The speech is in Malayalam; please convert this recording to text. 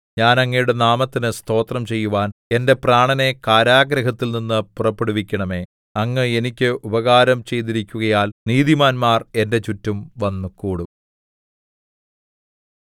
ഞാൻ അങ്ങയുടെ നാമത്തിന് സ്തോത്രം ചെയ്യുവാൻ എന്റെ പ്രാണനെ കാരാഗൃഹത്തിൽനിന്നു പുറപ്പെടുവിക്കണമേ അങ്ങ് എനിക്ക് ഉപകാരം ചെയ്തിരിക്കുകയാൽ നീതിമാന്മാർ എന്റെ ചുറ്റം വന്നുകൂടും